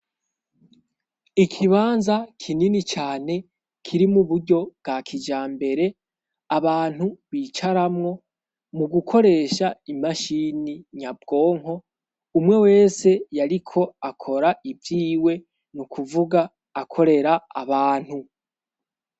Ikibanza kinini cane kiri muburyo bwa kijambere abantu bicaramwo mu gukoresha imashini nyabwonko, umwe wese yariko akora ivyiwe nukuvuga akorera abantu.